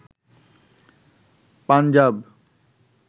Punjab